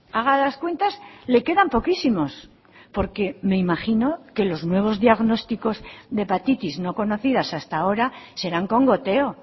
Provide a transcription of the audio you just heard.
haga las cuentas le quedan poquísimos porque me imagino que los nuevos diagnósticos de hepatitis no conocidas hasta ahora serán con goteo